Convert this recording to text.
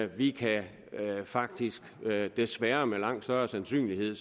vi kan faktisk desværre med langt større sandsynlighed